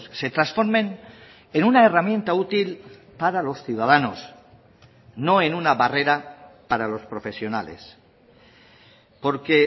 se transformen en una herramienta útil para los ciudadanos no en una barrera para los profesionales porque